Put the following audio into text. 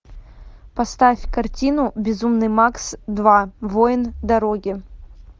поставь картину безумный макс два воин дороги